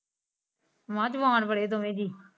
ਮੈ ਕਿਹਾ ਜਵਾਨ ਬੜੇ ਦੋਵੇ ਜੀ।